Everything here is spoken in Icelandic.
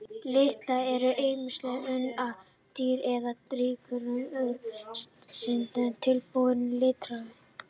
Litarefnin eru ýmist unnin úr dýra- eða jurtaríkinu, úr steindum eða tilbúin litarefni.